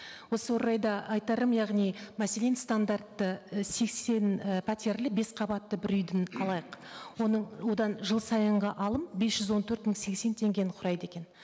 осы орайда айтарым яғни мәселен стандартты і сексен і пәтерлі бес қабатты бір үйдің алайық оның одан жыл сайынғы алым бес жүз он төрт мың сексен теңгені құрайды екен